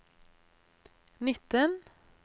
nitten